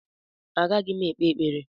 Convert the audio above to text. Agaghị m ekpe ekpere